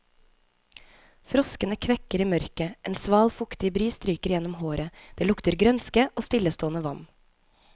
Froskene kvekker i mørket, en sval, fuktig bris stryker gjennom håret, det lukter grønske og stillestående vann.